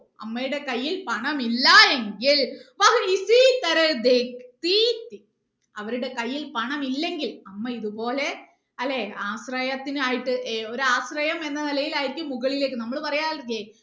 അമ്മയുടെ കൈയിൽ പണം ഇല്ലാ എങ്കിൽ അവരുടെ കൈയിൽ പണം ഇല്ലങ്കിൽ അമ്മ ഇതുപോലെ അല്ലെ ആശ്രയത്തിന് ആയിട്ട് ഏർ ഒരു ആശ്രയം എന്ന നിലയിൽ ആയിരിക്കും മുകളിലേക്ക് നമ്മൾ പറയാറില്ലേ